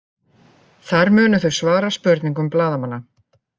Þar munu þau svara spurningum blaðamanna